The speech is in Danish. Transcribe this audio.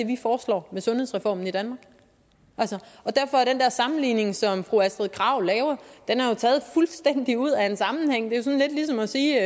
vi foreslår med sundhedsreformen i danmark derfor er den sammenligning som fru astrid krag laver taget fuldstændig ud af en sammenhæng det er lidt ligesom at sige